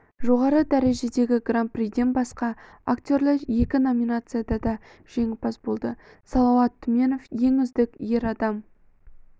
жоғары дәрежедегі гран-приден басқа актерлер екі номинацияда да жеңімпаз болды салауат түменов ең үздік ер адам